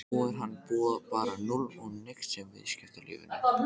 Nú er hann bara núll og nix í viðskiptalífinu!